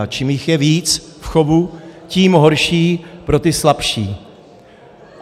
A čím jich je víc v chovu, tím horší pro ty slabší.